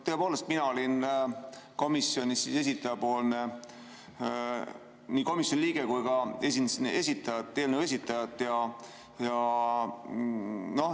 Tõepoolest, mina olin komisjonis nii komisjoni liige kui ka esindasin eelnõu esitajat.